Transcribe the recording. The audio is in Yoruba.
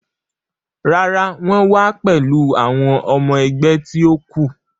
Rárá, wọ́n wa pẹ̀lú àwọn ọmọ ẹgbẹ́ ti ó kù.